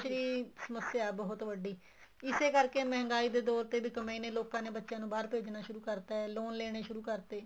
ਦੀ ਸਮੱਸਿਆ ਹੈ ਬਹੁਤ ਵੱਡੀ ਇਸੇ ਕਰਕੇ ਮਹਿੰਗਾਈ ਦੇ ਦੋਰ ਤੇ ਲੋਕਾਂ ਨੇ ਬੱਚਿਆ ਨੂੰ ਬਾਹਰ ਭੇਜਣਾ ਸ਼ੁਰੂ ਕਰਤਾ ਏ loan ਲੈਣੇ ਸ਼ੁਰੂ ਕਰਤੇ